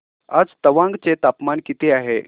आज तवांग चे तापमान किती आहे